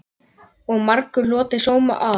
Og margur hlotið sóma af.